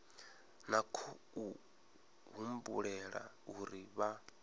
na khou humbulela uri vha